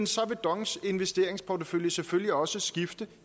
så vil dongs investeringsportefølje selvfølgelig også skifte